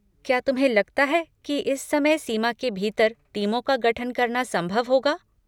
क्या तुम्हें लगता है कि इस समय सीमा के भीतर टीमों का गठन करना संभव होगा?